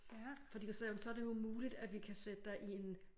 Fordi der sagde hun så det jo muligt at vi kan sætte dig i en